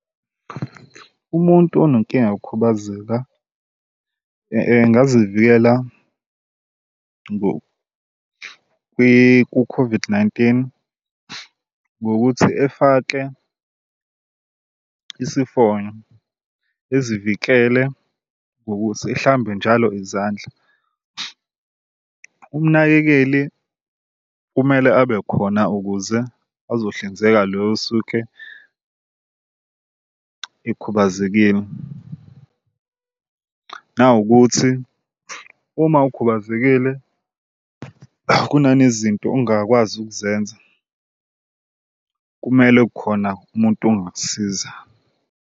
Umuntu onenkinga yokukhubazeka engazivikela ku-COVID-19 ngokuthi efake isifonyo ezivikele ngokuthi ehlambe njalo izandla. Umnakekeli kumele abe khona ukuze azohlinzeka lo osuke ekhubazekile nawukuthi uma ukhubazekile kunanezinto ongakwazi ukuzenza kumele khona umuntu ongakusiza.